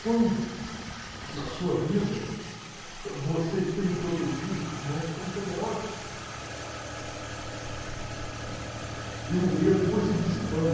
Quando, na sua vida, você esteve protegido por mãos tão poderosas e o medo foi se dissipando,